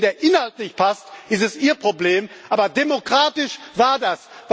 Wenn Ihnen der Inhalt nicht passt, ist es Ihr Problem, aber demokratisch war das.